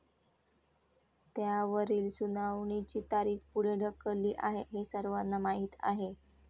त्यावरील सुनावणीची तारीख पुढे ढकलली आहे हे सर्वांना माहीत आहे.